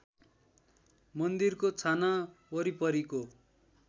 मन्दिरको छाना वरिपरिको